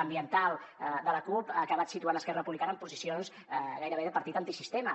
ambiental de la cup ha acabat situant esquerra republicana en posicions gairebé de partit antisistema